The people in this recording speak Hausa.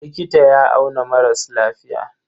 Likita ya auna maras lafiya.